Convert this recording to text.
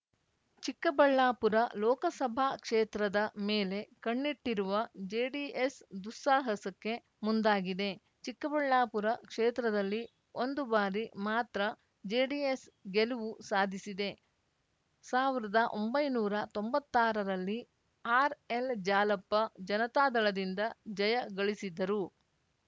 ಚಿಕ್ಕಬಳ್ಳಾಪುರ ಲೋಕಸಭಾ ಕ್ಷೇತ್ರದ ಮೇಲೆ ಕಣ್ಣಿಟ್ಟಿರುವ ಜೆಡಿಎಸ್‌ ದುಸ್ಸಾಹಸಕ್ಕೆ ಮುಂದಾಗಿದೆ ಚಿಕ್ಕಬಳ್ಳಾಪುರ ಕ್ಷೇತ್ರದಲ್ಲಿ ಒಂದು ಬಾರಿ ಮಾತ್ರ ಜೆಡಿಎಸ್‌ ಗೆಲುವು ಸಾಧಿಸಿದೆ ಸಾವಿರದ ಒಂಬೈನೂರ ತೊಂಬತ್ತಾರರಲ್ಲಿ ಆರ್‌ಎಲ್‌ಜಾಲಪ್ಪ ಜನತಾದಳದಿಂದ ಜಯ ಗಳಿಸಿದ್ದರು